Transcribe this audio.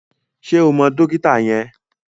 Ṣé o mọ dókítà yẹn?